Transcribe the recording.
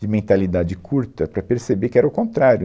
de mentalidade curta para perceber que era o contrário.